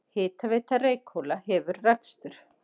Hitaveita Reykhóla hefur rekstur.